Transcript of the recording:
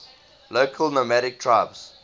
local nomadic tribes